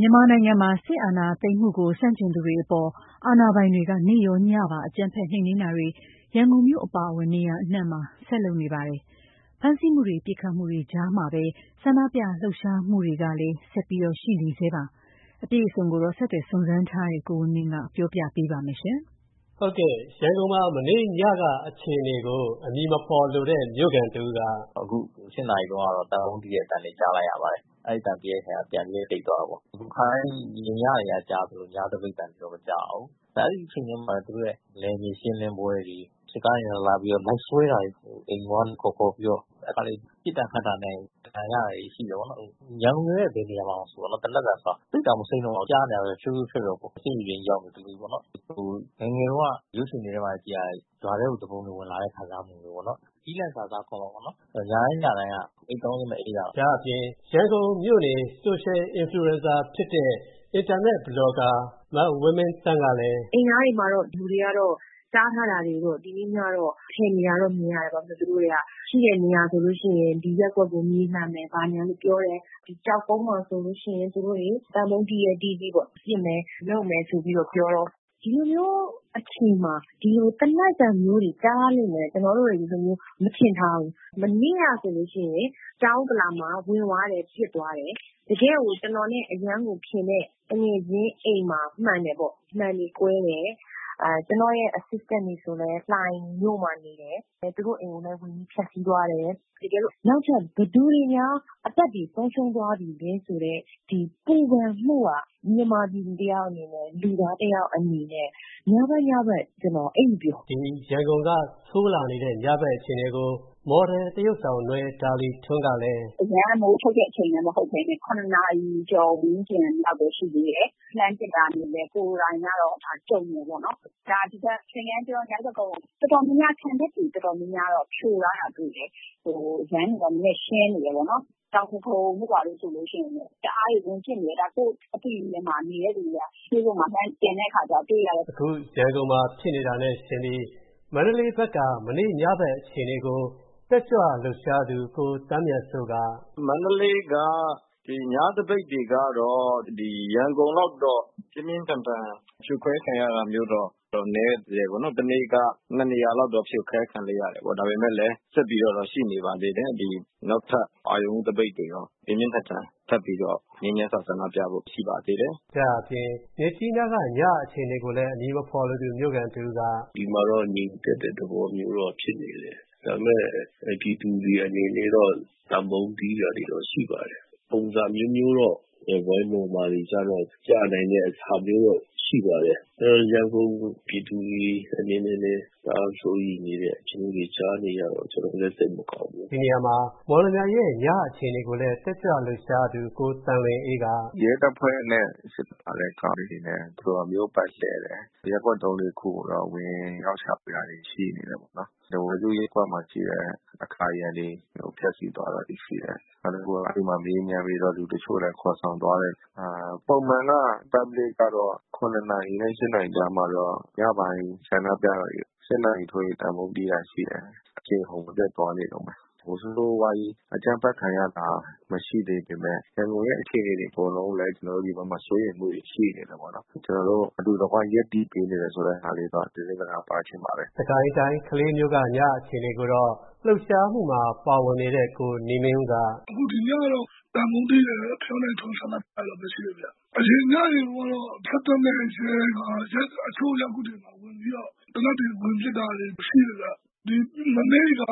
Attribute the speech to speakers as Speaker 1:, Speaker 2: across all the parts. Speaker 1: မြန်မာနိုင်ငံမှာ စစ်အာဏာသိမ်းမှုကို ဆန့်ကျင်သူတွေအပေါ် အာဏာပိုင်တွေက နေ့ရော၊ ညပါ အကြမ်းဖက် နှိမ်နင်းတာတွေ ရန်ကုန်မြို့ အပါအဝင် နေရာအနှံ့မှာ ဆက်လုပ်နေပါတယ်။ ဖမ်းဆီးမှုတွေ ပစ်ခတ်မှုတွေကြားမှာပဲ ဆန္ဒပြလှုပ်ရှားမှုတွေလည်း ရှိနေဆဲပါ။ အပြည့်အစုံကိုတော့ ဆက်သွယ်စုံစမ်းထားတဲ့ ကိုဝင်းမင်းက ပြောပြပေးပါမယ်။ ရန်
Speaker 2: ကုန်မှာ မနေ ့ညက အခြေအနေကို အမည်မဖော်လိုတဲ့မြို့ခံတဦးက “ အ
Speaker 3: ခု ၈ နာရီတုန်းကတော့ သံပုံးတီးတဲ့ အသံတွေ ကြားလိုက်ရပါတယ်။ အဲဒီအသံပြီးတဲ့ ခါကျတော့ ပြန်ပြီးတော့ တိတ်သွားတာပေါ့။ ခါတိုင်း ညတွေက ကြားရသလို ညသပိတ်အသံတွေတော့ မကြားရဘူး။ အဲဒီအချိန်ထဲမှာတော့ သူတို့ရဲ့ နယ်မြေရှင်းလင်းတဲ့ပွဲတွေ၊ စစ်ကားတွေနဲ့လာပြီးတော့ လိုက်ဆွဲတာတွေ၊ အိမ်ပေါ်ကနေ ခေါ်ခေါ်ပြီးတော့။ တခါတလေ ပစ်တာခတ်တာနဲ့ဒဏ်ရာရတာတွေ ရှိတယ်ပေါ့နော်။ အခု ရန်ကုန်မြို့ရဲ့ဘယ်နေရာမဆို သိပ်ကို မစိမ်းတော့ဘူး။ သေနတ်သံဆိုတာကြားနေရတာပဲ။ ဖြိုးဖြိူးဖြောက်ဖြောက်ပေါ့နော်။ ငယ်ငယ်တုန်းက ရုပ်ရှင်ထဲမှာ ကြည့်ရတဲ့ ရွာထဲကို သူပုန်တွေဝင်လာတဲ့ ခံစားမှုမျိူးပေါ့နော်။ ကျီးလန့်စာ စားခေါ်မှာပေါ့နော်။ ညတိုင်း ညတိုင်း
Speaker 2: က အိပ်ကောင်းခြင်း မအိပ်ရဘူး။” လို့ဆိုပါတယ်။ ဒါ့ အပြင် ရန်ကုန်မြို့နေ social influencer ဖြစ်တဲ့ အင်တာနက် ဘလော်ကာ မဝင်းမင်းသန်း ကလည်း “
Speaker 1: အိမ်နားမှာ လူတွေတားထားတာတွေကတော့ ဖယ်နေတာတော့ မြင်ရတယ်။ သူတို့တွေက ရှိတဲ့နေရာဆိုလို ့ရှိရင် သူတို့က ဒီရပ်ကွက်ကို မြေလှန်မယ် ဘာညာဆိုပြီးတော့ ပြောတယ်။ ကျောက်ကုန်းမှာဆိုလို့ရှိရင် သံပုံးတီးရဲတီးကြည့်ပေါ့။ ပစ်မယ်ဆိုပြီးတော့ ပြောတယ်။ ဒီလိုမျိူးအချိန်မှာ ဒီလို သေနတ်သံမျိူးတွေ ကြားရလိမ့်မယ်လို့ ကျနော်တို့တွေ မထင်ထားဘူး။ မနေ့ကဆိုလို့ရှိရင် တောင်ဥက္ကလာမှာ ဝင်သွားတယ်။ ပစ်သွားတယ်။ တကယ့်ကို ကျနော်နဲ့အရမ်းကိုခင်တဲ့ သူငယ်ချင်းအိမ်မှာ မှန်တယ်ပေါ့။ မှန်တွေကွဲတယ်။ ကျနော့်ရဲ့ Assistant တွေဆိုလည်း လှိုင်မြို့မှာနေတယ်။ သူတို့အိမ်တွေကိုလည်း ဝင်ပြီးတော့ ဖျက်ဆီးသွားတယ်။ နောက်ထပ် ဘယ်သူတွေများ အသက်တွေဆုံးရှုံးသွားပြီလဲဆိုတဲ့ ဒီပူပန်မှုဟာ မြန်မာပြည်သူတယောက်အနေနဲ့၊ လူသားတယောက်အနေနဲ့၊ ညဘက် ညဘက် ကျနော
Speaker 2: ် အိပ်မပျော်ဘူး” ဒါ့အပြင် ရန်ကုန်က ဆိုးလာနေတဲ့ ညဘက် အခြေအနေကို မော်ဒယ်သရုပ်ဆောင် နွယ်ဒါလီထွန်းကလည်း
Speaker 1: “ အရမ်းမိုးချုပ်တဲ့ အချိန်လည်းမဟုတ်ပဲနဲ့၇ နာရီကျော် ဝန်းကျင်လောက်ပဲရှိသေးတယ်။ လှမ်းပစ်တာမြင်တယ်။ ကိုယ်တိုင်ကလည်း ကြုံတယ်ပေါ့နော်။ သင်္ကန်းကျွန်း၊ မြောက်တဂုံ ခံတပ်တွေ တော်တော်များများတော့ ဖြိုထားတာတော့ တွေ ့တယ်။ လမ်းတွေတော့ နည်းနည်းရှင်းနေတယ်ပေါ့နော်။ တောင်ဒဂုံတို့ဘာတို့ဆိုလို့ရှိရင်လည်း တအားကို ဝင်ပစ်နေတယ်။ ဒါ ကိုယ့်အသိတွေထဲမှာ မြင်တဲ့သူတွေက facebook မှာ လှမ်း တင်တဲ့အခါမှာကျတော့ တွေ့ရတယ်။
Speaker 2: ” ရန်ကုန်မှာဖြစ်နေတာနဲ့ယှဉ်ပြီး မန္တလေးဘက်က မနေ့ညဘက်အခြေအနေကို တက်ကြွလှုပ်ရှားသူ ကို သန်းမြတ်စိုးက
Speaker 3: “ မန္တလေးက ညသပိတ်တွေကတော့ ရန်ကုန်က ညသပိတ်တွေကတော့ ရန်ကုန်လောက်တော့ ပြင်းပြင်းထန်ထန်
Speaker 2: ဖြိုခွဲခံရတာမျိူးတော့ နည်း
Speaker 3: တယ်ပေါ့နော်။ ဒါပေမယ့်လည်း ဆက်ပြီးတော့တော့ ရှိနေပါသေးတယ်။ ဆက်ပြီးတော့ပေါ့နော်။ နောက်ထပ် အရုဏ်ဦးသပိတ်တွေရော ထပ်ပြီးတော့ ပြင်းပြင်းထန်ထန် ဆန္ဒပြဖို့ရှိနေပါသေးတယ်။
Speaker 2: ” ဒါ့အပြင် မြစ်ကြီးနားက ညအခြေအနေကိုလည်း မြို့ခံတဦးက
Speaker 3: “ ဒီမှာတော့ ငြိမ်သက်တဲ့ သဘောမျိူးတော့ဖြစ်နေတယ်။ ဒါပေမယ့် ပြည်သူတွေအနေနဲ့တော့ သံပုံးတီးတာတွေတော့ ရှိပါတယ်။ ပုံစံအမျိူးမျိူးတော့ ဝိုင်းမော်မှာတွေကတော့ ပြနိုင်တာတွေလည်း ရှိပါတယ်။ ရန်ကုန်ပြည်သူတွေအနေနဲ့လည်း တအားစိုးရိမ်တဲ့ အခြေအနေမျိူးတွေကျနော်လည်း ကြားနေရတော့ ကျနော်လည်း စိတ်မကောင်းဘ
Speaker 2: ူး”လို့ဆိုပါတယ်။ ဒီနေရာမှာ မော်လမြိုင်ရဲ့ ညအခြေအနေကိုလည်း တက်ကြွလှုပ်ရှားသူ ကိုသံလွင်အေးက “
Speaker 3: ရဲတပ်ဖွဲ့နဲ့စစ်ကားတွေက မြို့ပတ်လှည့်တယ်။ ရပ်ကွက် သုံးလေးခုကိုတော့ ဝင်ရောက်ရှာဖွေတာတွေ ရှိနေတယ်ပေါ့နော်။ ထားဝယ်စုရပ်ကွက်မှာရှိတဲ့ အကာအရံတွေကို ဖျက်ဆီးသွားတာတွေ ရှိတယ်။ နောက်တခုက မေးမြန်းပြီးတော့ လူတချို့ကိုလည်း ခေါ်ဆောင်သွားတယ်။ Public ကတော့ ည ၈ နာရီထိုးရင် သံပုံးတီးတာတွေ ရှိတယ်။ အရှိန်အဟုတ်မပြတ်သွားနေတုန်းပဲ။ ဆိုးဆိုးဝါးဝါးကြီး အကြမ်းဖက်ခံရတာ မရှိသေးပေမယ့် ရန်ကုန်ရဲ့ အခြေအနေတွေအကုန်လုံးကိုလည်း ကျနော်တို့ဒီဘက်မှာ စိုးရိမ်မှုတွေ ရှိနေတယ်ပေါ့နော်။ ကျနော်တို့အတူတကွရပ်တည်ပေးနေတယ်ဆိုတဲ့ ဟာလေးကိုတော့ ကျနော်တို့သတင်းစကား
Speaker 2: ပါးချင်ပါတယ်။” စစ်ကိုင်းတိုင်း ကလေးမြို့က ည အခြေအနေကိုတော့ လှုပ်ရှားမှုမှာ ပါဝင်နေတဲ့ ကိုနေမင်းဦးကလည်း “ အခု ဒ
Speaker 1: ီညတော့ သံပုံးတီးတာတွေ၊ ဖယောင်းတိုင်ထွန်းတာတွေတော့ မရှိဘူးခင်ဗျ။ အရင်ညတွေတုန်းကတော့ စစ်တပ်နဲ့ရဲတွေက တချို့ရပ်ကွက်တွေကို သေနတ်တွေနဲ့ဝင်ပစ်တာတွေ ရှိတယ်ဗျ။ မနေ့က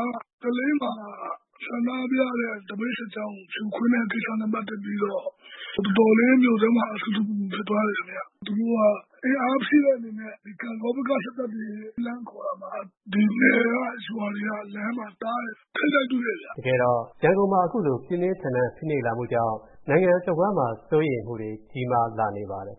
Speaker 1: ကလေးမှာ ဆန္ဒပြတဲ့ သပိတ်စစ်ကြောင်းကို ဖြိုခွဲတဲ့ ကိစ္စနဲ့ပက်သက်ပြီးတော့ တော်တော်လေး မြို့ထဲမှာ ဆူဆူပူပူ ဖြစ်သွားတယ်ခင်ဗျ။ သူတို့က အင်အားဖြည့်တဲ့ အနေနဲ့ ကန့်ဂေါဘက်က စစ်တပ်တွေ လှမ်းခေါ်တာမှာ ဒီနယ်က ရွာတွေက လမ်းမှာတားတယ်ခင်ဗျ
Speaker 2: ။ ထိပ်တိုက်တွေ့တယ်ခင်ဗျ။” တကယ်တော့ ရန်ကုန်မှာ အခုလို ပြင်းပြင်းထန်ထန်ဖိနှိပ်လာမှုကြောင့် နိုင်ငံတဝှမ်းမှာ စိုးရိမ်မှုတွေ ကြီး
Speaker 3: မားလာနေပါတယ်